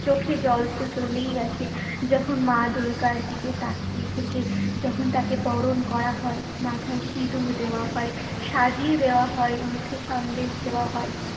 চোখে জল তো চলেই আসে যখন মা দুর্গার দিকে তাকিয়ে থেকে যখন তাকে বরণ করা হয়, মাথায় সিঁদুর দেওয়া হয়, সাজিয়ে দেওয়া হয়, মুখে সন্দেশ দেওয়া হয়।